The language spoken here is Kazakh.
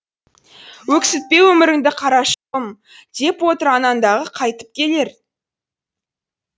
өксітпе өміріңді қарашығым деп отыр анаң дағы қайтып келер